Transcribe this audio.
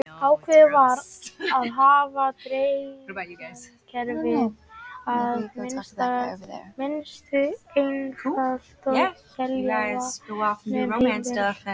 Ákveðið var að hafa dreifikerfið að mestu einfalt og selja vatn um hemil.